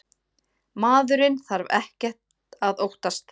Maðurinn þarf ekkert að óttast.